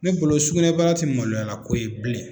Ne bolo sugunɛbara tɛ maloyalako ye bilen.